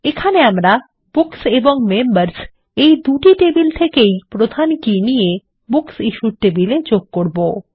এখানে আমরা বুকস এবং মেম্বার্স এই দুটি টেবিল থেকেই প্রধান কী নিয়ে বুকসিশ্যুড টেবিল এ যোগ করবো